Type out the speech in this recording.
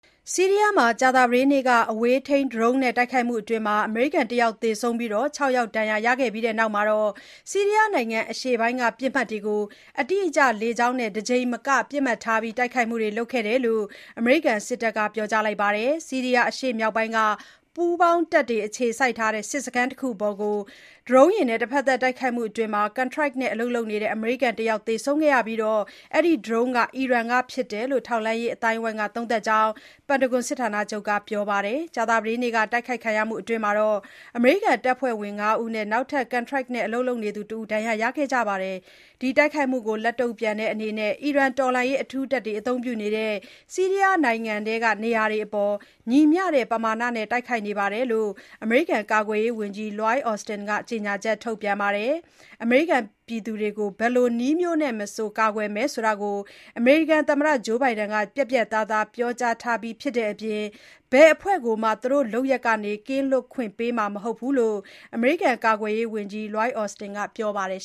ဆီးရီးယားမှာ ကြာသပတေးနေ့က အဝေးထိန်း ဒရုန်းနဲ့တိုက်ခိုက်မှုအတွင်း အမေရိကန် ၁ ယောက်သေဆုံးပြီး ၆ ယောက်ဒဏ်ရာရခဲ့ပြီးနောက် ဆီရီးယားနိုင်ငံအရှေ့ပိုင်းက ပစ်မှတ်တွေကို အတိအကျလေကြောင်းနဲ့ တကြိမ်မက ပစ်မှတ်ထားတိုက်ခိုက်မှုတွေလုပ်ခဲ့တယ်လို့ အမေရိကန်စစ်တပ်က ပြောကြားပါတယ်။ ဆီးရီးယားအရှေ့မြောက်ပိုင်းက ပူးပေါင်းတပ်တွေ အခြေစိုက်တဲ့စစ်စခန်းတခုအပေါ် တဖက်သတ် ဒရုန်းယာဉ်နဲ့တိုက်ခိုက်မှုအတွင်း ကန်ထရိုက်နဲ့အလုပ်လုပ်နေတဲ့ အမေရိကန်တယောက် သေဆုံးခဲ့ပြီး၊ အဲဒီဒရုန်းဟာ အီရန်ကဖြစ်တယ်လို့ ထောက်လှမ်းရေးအသိုင်းအဝိုင်းက သုံးသပ်တယ်ကြောင်း ပန်တာဂွန်စစ်ဌာနချုပ်က ပြောပါတယ်။ ကြာသပတေးနေ့က တိုက်ခိုက်ခံရမှုအတွင်း အမေရိကန် တပ်ဖွဲ့ဝင် ၅ ယောက်နဲ့ နောက်ထပ် ကန်ထရိုက်နဲ့ အလုပ်လုပ်နေသူတဦး ဒဏ်ရာရခဲ့ကြပါတယ်။ ဒီတိုက်ခိုက်မှုကို လက်တုံ့ပြန်တဲ့အနေနဲ့ အီရန်တော်လှန်ရေးအထူးတပ်တွေအသုံးပြုနေတဲ့ ဆီးရီးယားနိုင်ငံထဲက နေရာတွေအပေါ် ညီမျှတဲ့ ပမာဏနဲ့ တိုက်ခိုက်ခဲ့တယ်လို့ ကာကွယ်ရေးဝန်ကြီး လွိုက်အော်စတင် (Lloyd Austin) ကကြေညာချက်ထုတ်ပြန်ပါတယ်။ အမေရိကန်ပြည်သူတွေကို ဘယ်လိုနည်းမျိုးနဲ့မဆို ကာကွယ်မယ်ဆိုတာ သမ္မတဘိုင်ဒန်ကပြတ်ပြတ်သားသား ပြောကြားထားပြီးဖြစ်တဲ့အပြင် ဘယ်အဖွဲ့ကိုမှ သူတို့လုပ်ရပ်ကနေ ကင်းလွတ်ခွင့် ပေးမှာမဟုတ်ဘူးလို့ ကာကွယ်ရေးဝန်ကြီးအော်စတင်ကပြောပါတယ်